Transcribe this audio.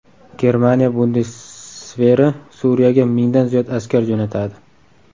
Germaniya bundesveri Suriyaga mingdan ziyod askar jo‘natadi.